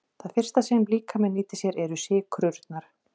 Það fyrsta sem líkaminn nýtir sér eru sykrurnar.